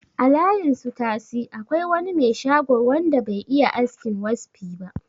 A layin su tasi akwai wani me shago wanda be iya askin waspi ba